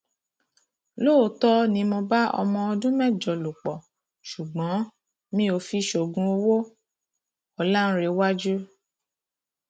lóòótọ ni mo bá ọmọ ọdún mẹjọ lò pọ ṣùgbọn mi ò fi ṣoògùn owó ọlàǹrẹwájú